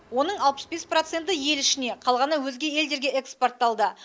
оның алпыс бес проценті ел ішіне қалғаны өзге елдерге экспортталды